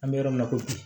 An bɛ yɔrɔ minna ko bi